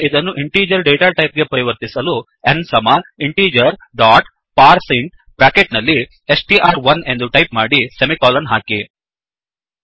ಈಗ ಇದನ್ನು integer data type ಗೆ ಪರಿವರ್ತಿಸಲು n ಸಮ ಇಂಟಿಜರ್ ಡಾಟ್ ಪಾರ್ಸಿಂಟ್ ಬ್ರ್ಯಾಕೆಟ್ ನಲ್ಲಿ ಸ್ಟ್ರ್1 ಎಂದು ಟೈಪ್ ಮಾಡಿ ಸೆಮಿಕೋಲನ್ ಹಾಕಿ